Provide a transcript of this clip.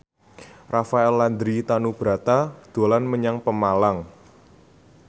Rafael Landry Tanubrata dolan menyang Pemalang